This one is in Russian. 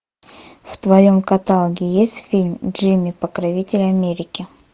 в твоем каталоге есть фильм джимми покровитель америки